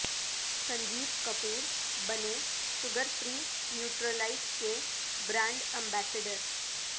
سنجیو کپور بنے sugar free Nutralite کے brand ambassador